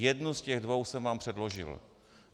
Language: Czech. Jednu z těch dvou jsem vám předložil.